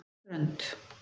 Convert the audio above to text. Strönd